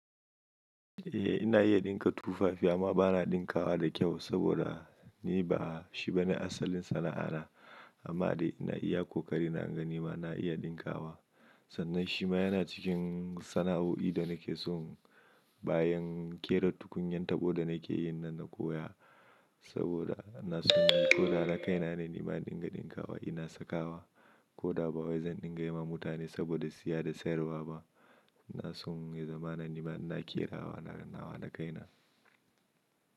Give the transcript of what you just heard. Eh ina iya ɗinka tufafi amma bana ɗinkawa da kyau saboda ni ba shi bane asalin sana'ana amma dai ina iya kokari na ga nima na iya ɗinkawa sannan shi ma yana cikin sana'oi da nake so bayan ƙera tukunyan tabo da nake yi na koya saboda ina so ko da na kaina ne nima ina ɗinkawa ina sakawa ko da ba wai zan dinga yi wa mutane saboda siya da sayarwa ba ina so in zama nima ina ƙera wa na nawa da kaina.